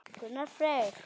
Gunnar Freyr.